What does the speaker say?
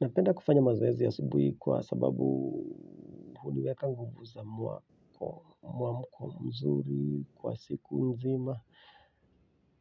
Napenda kufanya mazoezi asubuhi kwa sababu huniweka nguvu za mwamko mzuri kwa siku nzima.